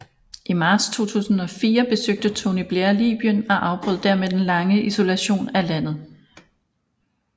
I marts 2004 besøgte Tony Blair Libyen og afbrød dermed den lange isolation af landet